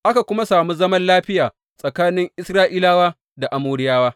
Aka kuma sami zaman lafiya tsakanin Isra’ilawa da Amoriyawa.